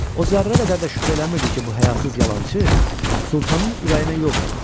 O zərrə qədər də şübhə eləmirdi ki, bu həyasız yalançı Sultanın ürəyinə yol tapıb.